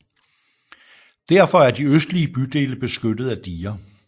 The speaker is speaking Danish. Derfor er de østlige bydele beskyttet af diger